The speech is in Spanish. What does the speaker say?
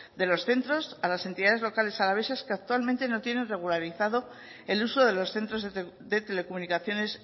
de los centros a las entidades locales alavesas que actualmente no tienen regularizado el uso de los centros de telecomunicaciones